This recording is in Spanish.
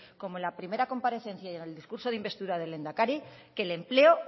como en la primera comparecencia y en el discurso de investidura del lehendakari que el empleo